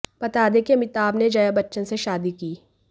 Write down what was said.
बता दें कि अमिताभ ने जया बच्चन से शादी की